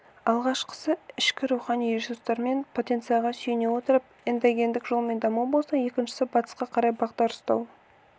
алғашқысы ішкі рухани ресурстар мен потенцияға сүйене отырып эндогендік жолмен даму болса екіншісі батысқа қарай бағдар ұстау